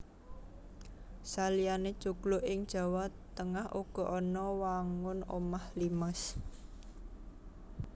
Saliyané joglo ing Jawa Tengah uga ana wangun omah limas